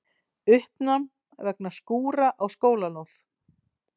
Uppnám vegna skúra á skólalóð